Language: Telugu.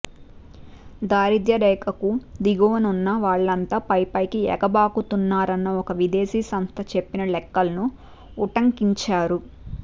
దారిద్ర్యరేఖకు దిగువనున్నవాళ్ళంతా పైపైకి ఎగబాకుతున్నారన్న ఒక విదేశీ సంస్థ చెప్పిన లెక్కల్ని ఉటంకించారు